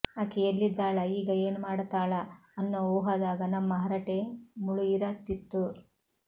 ಅಕಿ ಎಲ್ಲಿದ್ದಾಳ ಈಗ ಏನು ಮಾಡತಾಳ ಅನ್ನೋ ಊಹಾದಾಗ ನಮ್ಮ ಹರಟೆ ಮುಳುಗಿರತಿತ್ತು